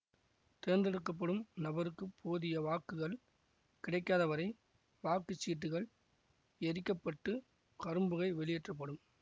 தேர்ந்தெடுக்கப்படும் நபருக்குப் போதிய வாக்குகள் கிடைக்காதவரை வாக்கு சீட்டுகள் எரிக்கப்பட்டு கரும்புகை வெளியேற்றப்படும்